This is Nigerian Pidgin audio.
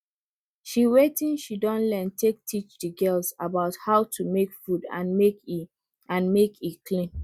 she watin she don learn take teach the girls about how to make food and make e and make e clean